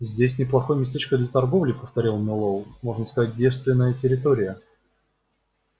здесь неплохое местечко для торговли повторил мэллоу можно сказать девственная территория